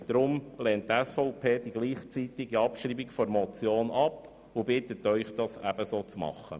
Deshalb lehnt die SVP die gleichzeitige Abschreibung der Motion ab und bittet Sie, dasselbe zu tun.